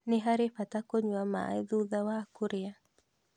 Nĩ harĩ bata kũnyua maĩ thutha wa kũrĩa